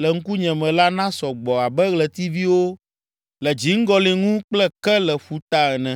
le ŋkunye me la nasɔ gbɔ abe ɣletiviwo le dziŋgɔli ŋu kple ke le ƒuta ene.’ ”